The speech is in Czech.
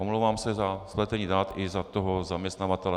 Omlouvám se za spletení dat i za toho zaměstnavatele.